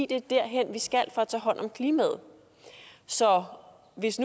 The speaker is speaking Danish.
det er derhen vi skal for at tage hånd om klimaet så hvis